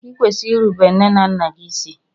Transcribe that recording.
i kwesịrị ịrụbere nne na nna gị ịsị!!